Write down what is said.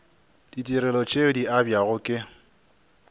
ditirelo tše di abjago ke